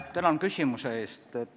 Tänan küsimuse eest!